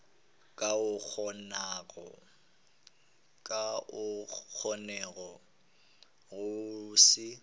ka o kgonago go se